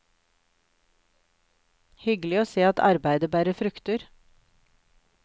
Hyggelig å se at arbeidet bærer frukter.